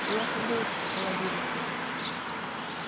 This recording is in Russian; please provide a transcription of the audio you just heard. я шагнул к холодильнику